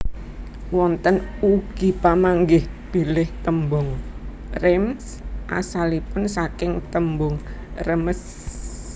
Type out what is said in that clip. Wonten ugi pamanggih bilih tembung Reims asalipun saking tembung Rèmes